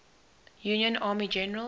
union army generals